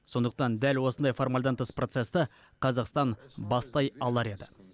сондықтан дәл осындай формальдан тыс процесті қазақстан бастай алар еді